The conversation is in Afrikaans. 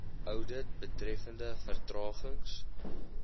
oudit betreffende vertragings